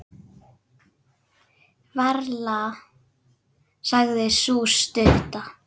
Varla, sagði sú stutta.